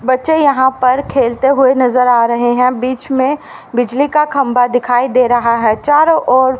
बच्चे यहां पर खेलते हुए नजर आ रहे हैं बीच में बिजली का खंभा दिखाई दे रहा है चारों ओर--